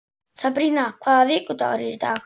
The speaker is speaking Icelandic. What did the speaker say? Sabrína, hvaða vikudagur er í dag?